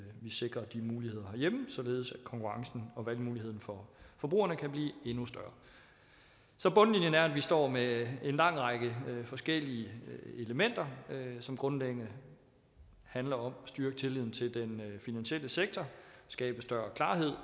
vi sikrer de muligheder herhjemme således at konkurrencen og valgmuligheden for forbrugerne kan blive endnu større så bundlinjen er at vi står med en lang række forskellige elementer som grundlæggende handler om styrke tilliden til den finansielle sektor skabe større klarhed